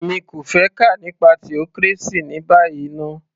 Èmi kò fẹ́ kà nípa theocracy ní báyìí ná